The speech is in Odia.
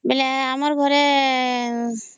ବେଲେ ଆମର ଘରେ